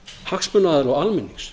hagsmunaaðila og almennings